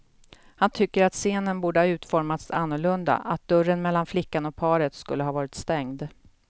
Han tycker att scenen borde ha utformats annorlunda, att dörren mellan flickan och paret skulle ha varit stängd.